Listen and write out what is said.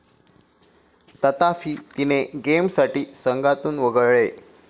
तथापी, तिने गेमसाठी संघातून वगळले.